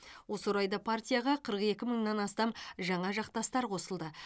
осы орайда партияға қырық екі мыңнан астам жаңа жақтастар қосылды